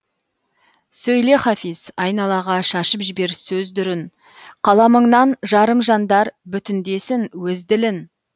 сөйле хафиз айналаға шашып жібер сөз дүрін қаламыңнан жарым жандар бүтіндесін өз ділін